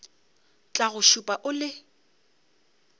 tla go šupa o le